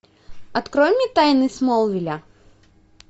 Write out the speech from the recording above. открой мне тайны смолвиля